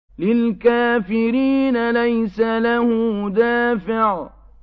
لِّلْكَافِرِينَ لَيْسَ لَهُ دَافِعٌ